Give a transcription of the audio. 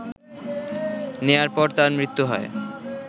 নেয়ার পর তার মৃত্যু হয়